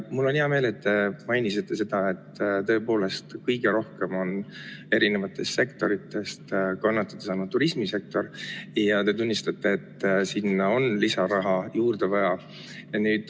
Mul on hea meel, et te mainisite, et tõepoolest kõige rohkem on eri sektoritest kannatada saanud turismisektor, ja te tunnistate, et sinna on lisaraha juurde vaja.